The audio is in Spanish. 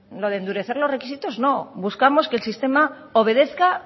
lo de endurecer los requisitos no buscamos que el sistema obedezca